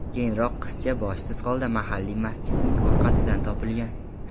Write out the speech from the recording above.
Keyinroq qizcha boshsiz holda mahalliy masjidning orqasidan topilgan.